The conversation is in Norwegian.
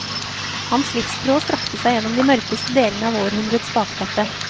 Hans livstråd strakte seg gjennom de mørkeste delene av århundrets bakteppe.